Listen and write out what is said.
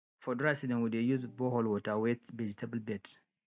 for dry season we dey use borehole water wet vegetable beds